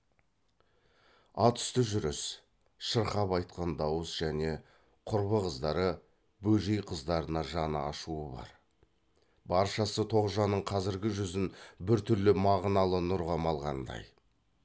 ат үсті жүріс шырқап айтқан дауыс және құрбы қыздары бөжей қыздарына жаны ашуы бар баршасы тоғжанның қазіргі жүзін бір түрлі мағыналы нұрға малғандай